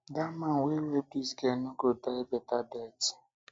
dat man wey rape dis girl no go die beta death